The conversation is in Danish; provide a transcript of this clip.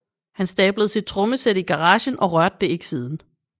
He stablede sit trommesæt i garagen og rørte det ikke siden